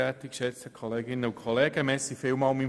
Ich danke meinem Vorredner vielmals;